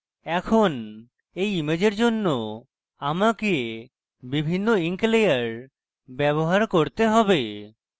এখন এই ইমেজের জন্য আমকে বিভিন্ন ink layer ব্যবহার করতে have